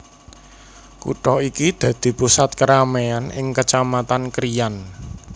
Kutha iki dadi pusat kerameyan ing Kecamatan Krian